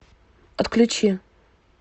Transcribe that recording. отключи